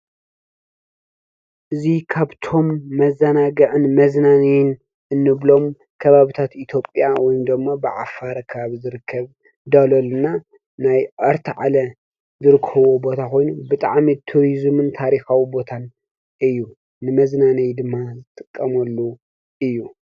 እዙ ኻብቶም መዛናግዕን መዝናንይን እንብሎም ከባብታት ኢትጴያ ወይምዶሞ ብዓፋረካብ ዝርከብ ዳሎልና ናይ ዕርቲ ዓለ ዝርክብዎ ቦታ ኾይኑ ብጥዓሜት ቱርዝምን ታሪኻዊ ቦታን እዩ ንመዝናነይ ድማ ዝጥቀመሉ እዩ።